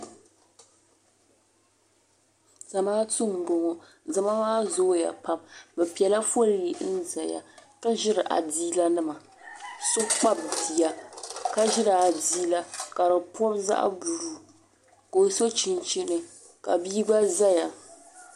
Zamaatu n boŋo zama maa zooya pam bi piɛla foolii n ʒɛya k ʒiri adiila nima so kpabi bia ka ʒiri adiila ka di pibi zaɣ buluu ka o so chinchini ka bia gba ʒɛya